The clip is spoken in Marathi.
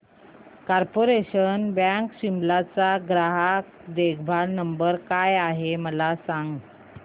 कार्पोरेशन बँक शिमला चा ग्राहक देखभाल नंबर काय आहे मला सांग